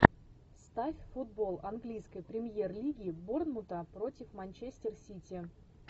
ставь футбол английской премьер лиги борнмута против манчестер сити